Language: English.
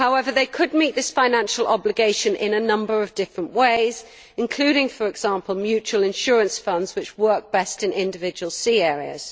They could meet this financial obligation in a number of different ways including, for example, mutual insurance funds which work best in individual sea areas.